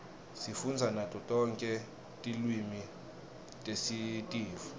sifundza nato tonke tilwimi tesitifu